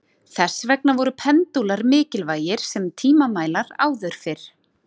Þess vegna voru pendúlar mikilvægir sem tímamælar áður fyrr.